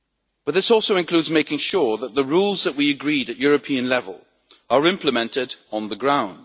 But this also includes making sure that the rules that we agreed at European level are implemented on the ground.